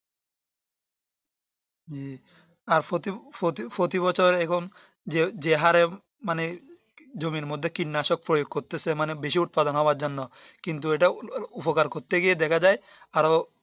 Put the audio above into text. জি আর প্রতি প্রতি বছর এবং যে যে হরে মানে জমির মধ্যে কীটনাশক প্রয়োগ করতেছে মানে বেশি উৎপাদন হওয়ার জন্য কিন্তু এটা উপকার করতে গিয়ে দেখা যাই আরো